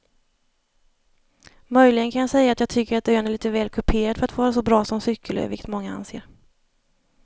Möjligen kan jag säga att jag tycker att ön är lite väl kuperad för att vara så bra som cykelö vilket många anser.